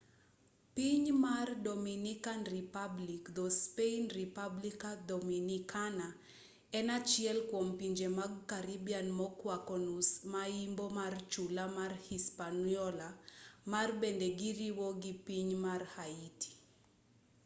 piny mar dominican republic dho-spain: república dominicana en achiel kwom pinje mag karibian mokwako nus ma yimbo mar chula ma hispaniola ma bende giriwo gi piny mar haiti